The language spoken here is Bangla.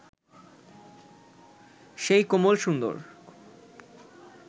সেই কোমল সুন্দর